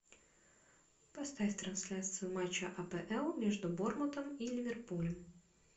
поставь трансляцию матча апл между борнмутом и ливерпулем